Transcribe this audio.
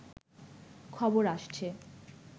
খবর আসছে